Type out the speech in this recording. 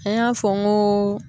An y'a fɔ n goo